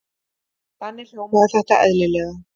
Þannig hljómaði þetta eðlilega.